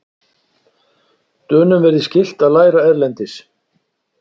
Dönum verði skylt að læra erlendis